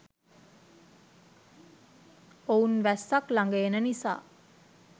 ඔවුන් වැස්සක් ලඟ එන නිසා